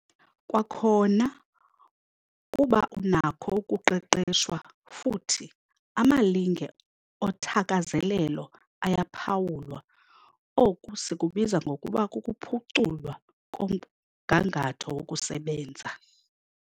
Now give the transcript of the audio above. Kwakhona, kuba unakho ukuqeqeshwa futhi amalinge othakazelelo ayaphawulwa- Oku sikubiza ngokuba kukuphuculwa komgangatho wokusebenza.